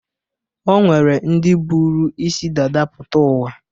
O nwere ndị buru isi dada pụta ụwa.